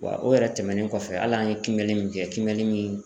Wa o yɛrɛ tɛmɛnen kɔfɛ hali an ye kimɛni min kɛ kimɛni min